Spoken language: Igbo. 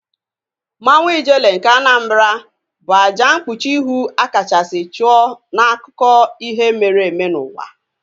Mmanwu Ijele nke Anambra bụ àjà mkpuchi ihu a kachasị chụọ n'akụkọ ihe mere eme n'ụwa